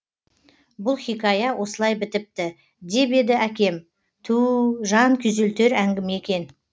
бұл хикая осылай бітіпті деп еді әкем туу жан күйзелтер әңгіме екен